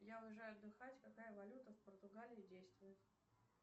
я уезжаю отдыхать какая валюта в португалии действует